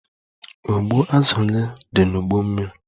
Ụgbụ azụ gị dị n'ụgbọ mmiri.